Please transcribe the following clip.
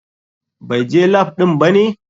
BAI je lap ɗin bane?